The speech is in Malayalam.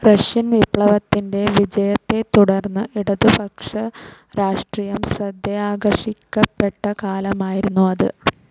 റഷ്യൻ വിപ്ലവത്തിന്റെ വിജയത്തെത്തുടർന്ന് ഇടതുപക്ഷ രാഷ്ട്രീയം ശ്രദ്ധയാകർഷിക്കപ്പെട്ട കാലമായിരുന്നു അത്.